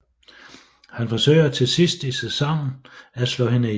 Han forsøger til sidst i sæsonen at slå hende ihjel